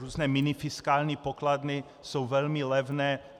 Různé minifiskální pokladny jsou velmi levné.